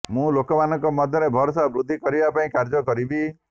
ମୁଁ ଲୋକମାନଙ୍କ ମଧ୍ୟରେ ଭରସା ବୃଦ୍ଧି କରିବା ପାଇଁ କାର୍ଯ୍ୟ କରିବି